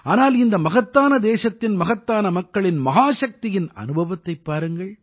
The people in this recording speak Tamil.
ஆனால் இந்த மகத்தான தேசத்தின் மகத்தான மக்களின் மகாசக்தியின் அனுபவத்தைப் பாருங்கள்